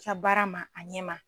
ka baara ma a ɲɛ ma.